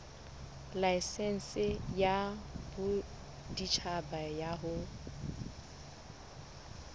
laesense ya boditjhaba ya ho